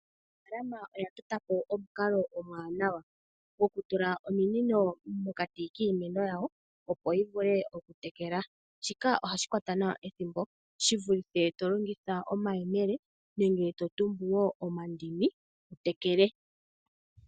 Aanafalama oya tota po omukalo omwaanawa gwokutula ominino mokati kiimeno yawo, opo yi vule okutekela. Shika ohashi kwata nawa ethimbo shi vulithe to longitha omayemele nenge to tumbu wo omandini wu tekele.